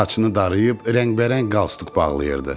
Saçını darıyıb rəngbərəng qalsduq bağlayırdı.